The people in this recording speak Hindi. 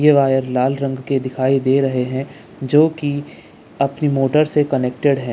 ये वायर लाल रंग के दिखाई दे रहे हैं जो कि अपनी मोटर से कनेक्टेड है।